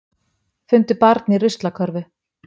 Fundu barn í ruslakörfu